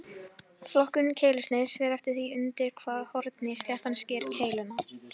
Flokkun keilusniðs fer eftir því undir hvaða horni sléttan sker keiluna.